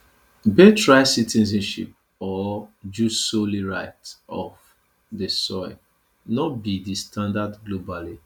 birthright citizenship or jus soli right of di soil no be di standard globally